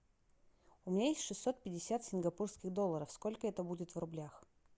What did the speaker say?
у меня есть шестьсот пятьдесят сингапурских долларов сколько это будет в рублях